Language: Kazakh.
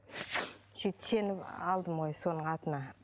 сөйтіп сеніп алдым ғой соның атына